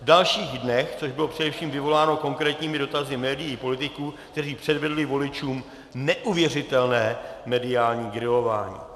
V dalších dnech, což bylo především vyvoláno konkrétními dotazy médií i politiků, kteří předvedli voličům neuvěřitelné mediální grilování.